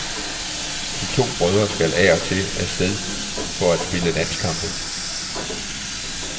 De to brødre skal af og til skal af sted for at spille landskampe.